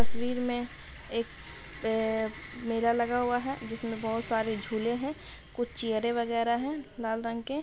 तस्वीर में एक अ मेला लगा हुआ है जिसमें बहुत सारे झूले हैं कुछ चेयरें वगैरा हैं लाल रंग के।